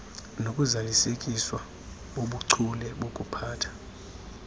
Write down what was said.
nokuzalisekiswa bobuchule bokuphatha